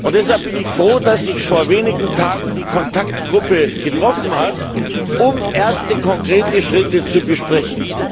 Deshalb bin ist froh, dass sich vor wenigen Tagen die Kontaktgruppe getroffen hat, um erste konkrete Schritte zu besprechen.